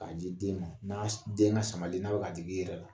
K'a di den ma n'a den ka samani n'a bɛ ka digi i yɛrɛ la